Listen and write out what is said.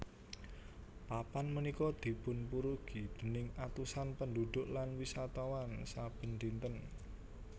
Papan punika dipunpurugi déning atusan pendhudhuk lan wisatawan saben dinten